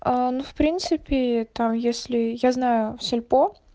аа ну в принципе там если я знаю в сильпо